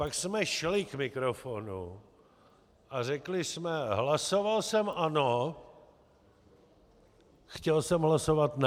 Pak jsme šli k mikrofonu a řekli jsme: "Hlasoval jsem ano, chtěl jsem hlasovat ne.